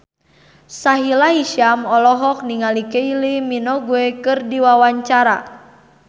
Sahila Hisyam olohok ningali Kylie Minogue keur diwawancara